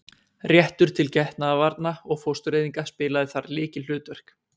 Réttur til getnaðarvarna og fóstureyðinga spilaði þar lykilhlutverk.